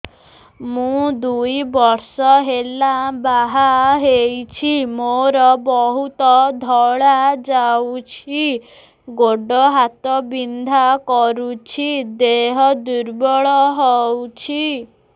ମୁ ଦୁଇ ବର୍ଷ ହେଲା ବାହା ହେଇଛି ମୋର ବହୁତ ଧଳା ଯାଉଛି ଗୋଡ଼ ହାତ ବିନ୍ଧା କରୁଛି ଦେହ ଦୁର୍ବଳ ହଉଛି